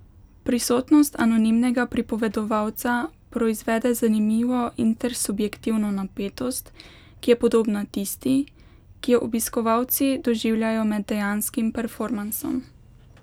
Prisotnost anonimnega pripovedovalca proizvede zanimivo intersubjektivno napetost, ki je podobna tisti, ki jo obiskovalci doživljajo med dejanskim performansom.